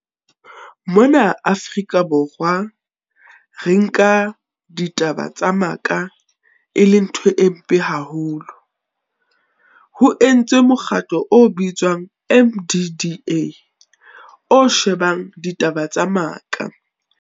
Mona Afrika Borwa, re nka ditaba tsa maka e le ntho e mpe haholo. Ho entswe mokgatlo o bitswang M_D_D_A, o shebang ditaba tsa maka.